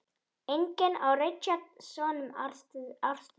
Einnig á Richard soninn Arthur.